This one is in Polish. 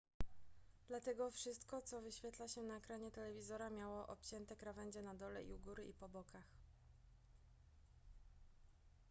dlatego wszystko co wyświetla się na ekranie telewizora miało obcięte krawędzie na dole u góry i po bokach